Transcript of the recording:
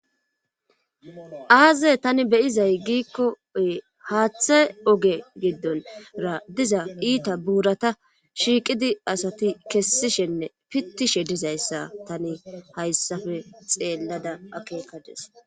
Aaze tani beyizay giikkoy haaththe oge giddonra diza iita buurata shiiqidi asati kessishenne pittishe dizayssa tani hayssafe xeellada akeekades.